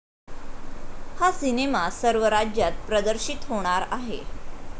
हा सिनेमा सर्व राज्यात प्रदर्शित होणार आहे.